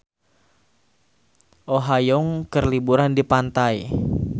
Oh Ha Young keur liburan di pantai